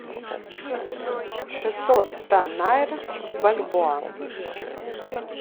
шестьсот ста найр в бальбоа